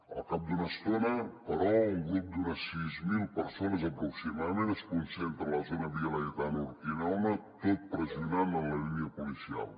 al cap d’una estona però un grup d’unes sis mil persones aproximadament es concentra a la zona via laietana urquinaona tot pressionant la línia policial